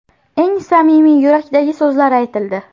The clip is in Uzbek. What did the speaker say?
Eng samimiy, yurakdagi so‘zlar aytildi.